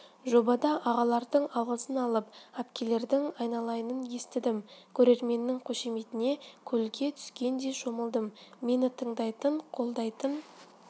жобада ағалардың алғысын алып пкелердің айналайынын естідім көрерменнің қошеметіне көлге түскендей шомылдым мені тыңдайтын қолдайтын